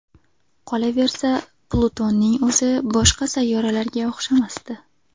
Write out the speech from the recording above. Qolaversa, Plutonning o‘zi boshqa sayyoralarga o‘xshamasdi.